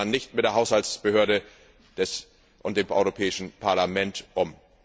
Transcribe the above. So geht man nicht mit der Haushaltsbehörde und mit dem Europäischen Parlament um!